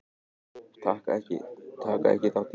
Taka ekki þátt í kreppunni